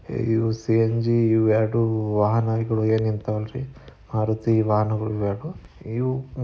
ಇವು ಸಿ_ಎನ್_ಜಿ ಇವೆರಡು ವಾಹನಗಳು ಏನು ನಿಂತವ ಅಲ್ರಿ ಮಾರುತಿ ವಾಹನಗಳು ಇವೆರಡೂ ಇವು--